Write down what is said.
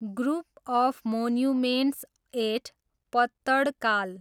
group of monuments at Pattadakal